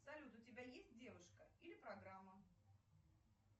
салют у тебя есть девушка или программа